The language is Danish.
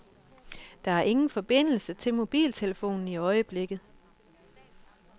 Der er ingen forbindelse til mobiltelefonen i øjeblikket.